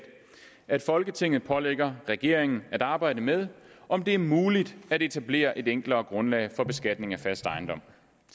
at folketinget pålægger regeringen at arbejde med om det er muligt at etablere et enklere grundlag for beskatning af fast ejendom